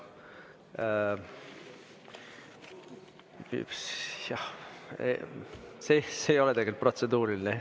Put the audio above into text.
Jah, see ei ole protseduuriline.